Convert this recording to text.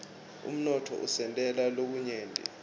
umnotfo usentela lokunyenti